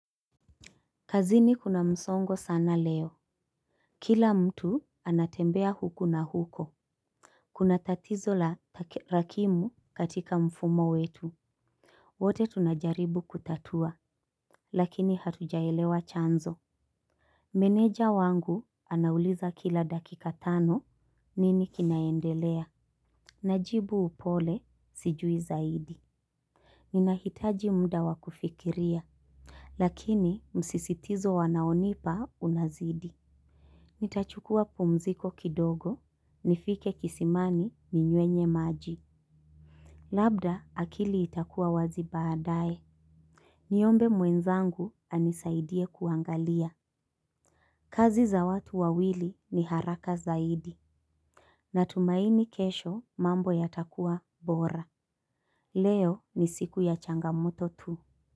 Kazini kuna msongo sana leo. Kila mtu anatembea huku na huko. Kuna tatizo la rakimu katika mfumo wetu. Wote tunajaribu kutatua lakini hatujaelewa chanzo. Meneja wangu anauliza kila dakika tano nini kinaendelea. Najibu upole sijui zaidi. Ninahitaji muda wa kufikiria. Lakini msisitizo wanaonipa unazidi. Nitachukua pumziko kidogo, nifike kisimani ninyuenye maji. Labda akili itakuwa wazi baadae. Niombe mwenzangu anisaidie kuangalia. Kazi za watu wawili ni haraka zaidi. Natumaini kesho mambo yatakuwa bora. Leo ni siku ya changamoto tu.